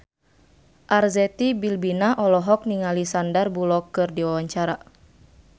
Arzetti Bilbina olohok ningali Sandar Bullock keur diwawancara